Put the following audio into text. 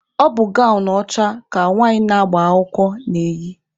Ọ bụ gawnụ ọcha ka nwanyị na-agba akwụkwọ na-eyị.